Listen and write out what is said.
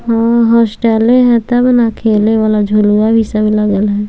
हां हॉस्टले हेय तब ना खेले वाला झुलवा भी सब लागल हेय।